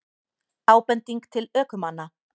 Ábending til ökumanna